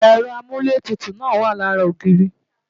Ẹ̀rọ amúlétutù náà wa lára ogiiri